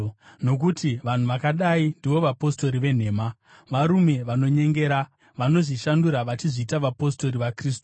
Nokuti vanhu vakadai ndivo vapostori venhema, varume vanonyengera, vanozvishandura vachizviita vapostori vaKristu.